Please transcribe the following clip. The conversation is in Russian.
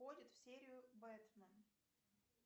входит в серию бэтмен